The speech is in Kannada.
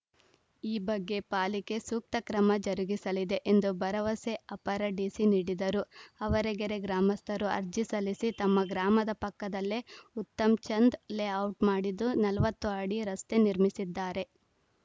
ಈ ಬಗ್ಗೆ ಪಾಲಿಕೆ ಸೂಕ್ತ ಕ್ರಮ ಜರುಗಿಸಲಿದೆ ಎಂದು ಭರವಸೆ ಅಪರ ಡಿಸಿ ನೀಡಿದರು ಆವರಗೆರೆ ಗ್ರಾಮಸ್ಥರು ಅರ್ಜಿ ಸಲ್ಲಿಸಿ ತಮ್ಮ ಗ್ರಾಮದ ಪಕ್ಕದಲ್ಲೇ ಉತ್ತಮ್‌ಚಂದ್‌ ಲೇಔಟ್‌ ಮಾಡಿದ್ದು ನಲವತ್ತು ಅಡಿ ರಸ್ತೆ ನಿರ್ಮಿಸಿದ್ದಾರೆ